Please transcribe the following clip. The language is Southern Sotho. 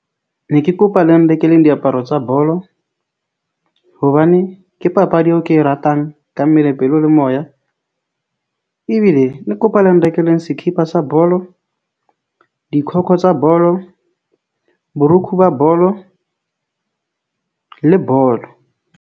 Ne ke kopa le nreleng diaparo tsa bolo hobane ke papadi eo ke e ratang ka mmele, pelo le moya ebile ne ke kopa le nrekeleng sekipa sa bolo tsa bolo, borukho ba bolo le bolo.